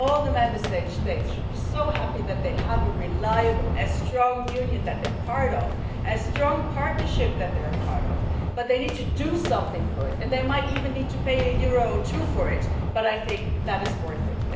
All the Member States should be so happy that they have a reliable and strong Union that they are part of and a strong partnership that they are part of, but they need to do something for it and they might even need to pay euro or two for it, but I think it is worth it.